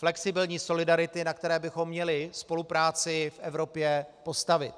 Flexibilní solidarity, na které bychom měli spolupráci v Evropě postavit.